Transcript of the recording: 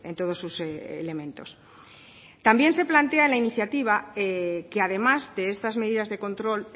todos sus elementos también se plantea la iniciativa que además de estas medidas de control